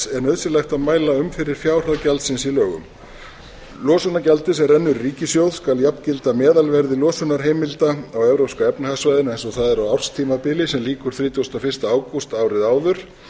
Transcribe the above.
er nauðsynleg að mæla um fyrir fjárhæð gjaldsins í lögum losunargjaldið sem rennur í ríkissjóð skal jafngilda meðalverði losunarheimilda á evrópska efnahagssvæðinu eins og það er á árstímabili sem lýkur þrítugasta og fyrsta ágúst árið áður